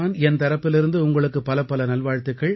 என் தரப்பிலிருந்து உங்களுக்குப் பலப்பல நல்வாழ்த்துக்கள்